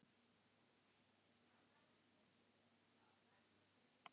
Ertu hræddur um að þeir nái þér?